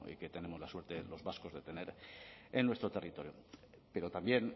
como tenemos la suerte los vascos de tener en nuestro territorio pero también